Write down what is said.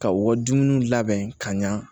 Ka u ka dumuniw labɛn ka ɲa